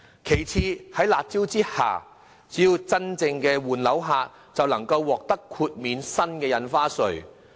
其次，在"辣招"之下，只要是真正換樓的買家，便能獲得豁免新的印花稅。